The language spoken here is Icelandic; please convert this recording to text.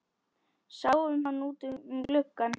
Sáum hann út um glugga.